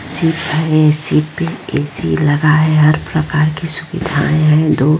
Ship हैं ship पे AC. लगा है हर प्रकार की सुविधाएँ हैं। दो --